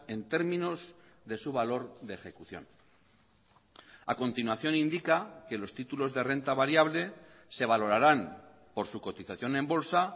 en términos de su valor de ejecución a continuación indica que los títulos de renta variable se valorarán por su cotización en bolsa